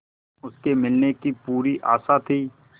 उसके मिलने की पूरी आशा थी